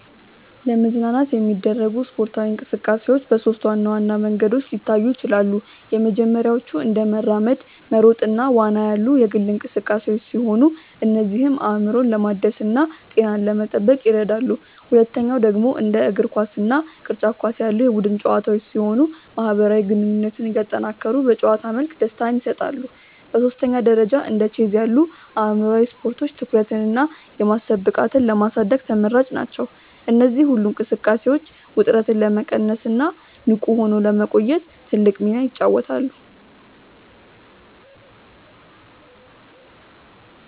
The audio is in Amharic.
ለመዝናናት የሚደረጉ ስፖርታዊ እንቅስቃሴዎች በሦስት ዋና ዋና መንገዶች ሊታዩ ይችላሉ። የመጀመሪያዎቹ እንደ መራመድ፣ መሮጥ እና ዋና ያሉ የግል እንቅስቃሴዎች ሲሆኑ እነዚህም አእምሮን ለማደስና ጤናን ለመጠበቅ ይረዳሉ። ሁለተኛው ደግሞ እንደ እግር ኳስ እና ቅርጫት ኳስ ያሉ የቡድን ጨዋታዎች ሲሆኑ ማህበራዊ ግንኙነትን እያጠናከሩ በጨዋታ መልክ ደስታን ይሰጣሉ። በሦስተኛ ደረጃ እንደ ቼዝ ያሉ አእምሯዊ ስፖርቶች ትኩረትንና የማሰብ ብቃትን ለማሳደግ ተመራጭ ናቸው። እነዚህ ሁሉ እንቅስቃሴዎች ውጥረትን ለመቀነስና ንቁ ሆኖ ለመቆየት ትልቅ ሚና ይጫወታሉ።